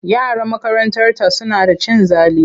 Yaran makarantarta suna da cin zali.